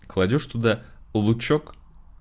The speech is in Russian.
кладёшь туда лучёк